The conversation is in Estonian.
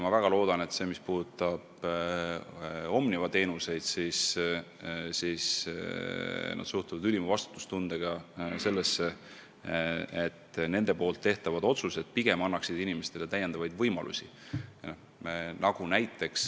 Ma väga loodan, et mis puudutab Omniva teenuseid, siis nad teevad oma otsuseid ülima vastutustundega ja arvestavad, et nende sammud pigem peavad andma inimestele täiendavaid võimalusi.